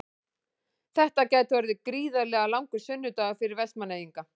Þetta gæti orðið gríðarlega langur sunnudagur fyrir Vestmannaeyinga.